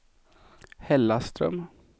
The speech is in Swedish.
Hällaström